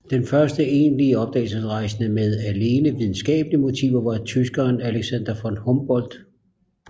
Den første egentlige opdagelsesrejsende med alene videnskabelige motiver var tyskeren Alexander von Humboldt